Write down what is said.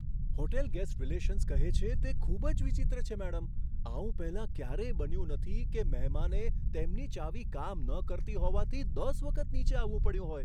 Hotel guest relations કહે છે, તે ખૂબ જ વિચિત્ર છે, મેડમ. આવું પહેલા ક્યારેય બન્યું નથી કે મહેમાને તેમની ચાવી કામ ન કરતી હોવાથી દસ વખત નીચે આવવું પડ્યું હોય.